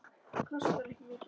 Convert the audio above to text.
Kostar ekki mikið.